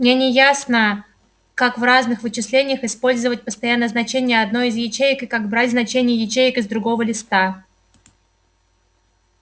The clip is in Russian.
мне не ясно как в разных вычислениях использовать постоянное значение одной из ячеек и как брать значения ячеек из другого листа